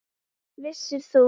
Vissir þú?